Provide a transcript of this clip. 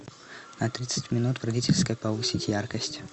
на тридцать минут в родительской повысить яркость